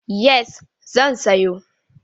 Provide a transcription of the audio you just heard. Yes, zan sayo.